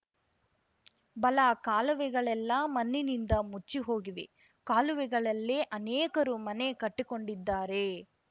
ಬಲ ಕಾಲುವೆಗಳೆಲ್ಲಾ ಮಣ್ಣಿನಿಂದು ಮುಚ್ಚಿಹೋಗಿವೆ ಕಾಲುವೆಗಳಲ್ಲೇ ಅನೇಕರು ಮನೆ ಕಟ್ಟಿಕೊಂಡಿದ್ದಾರೆ